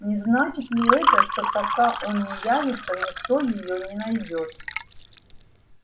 не значит ни это что пока он не явится никто её не найдёт